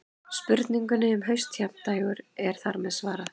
Spurningunni um haustjafndægur er þar með svarað.